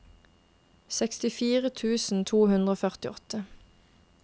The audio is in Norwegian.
sekstifire tusen to hundre og førtiåtte